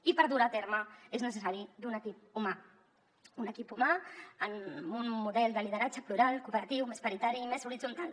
i per dur ho a terme és necessari un equip humà un equip humà en un model de lideratge plural cooperatiu més paritari i més horitzontal